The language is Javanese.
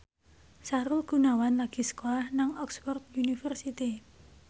Sahrul Gunawan lagi sekolah nang Oxford university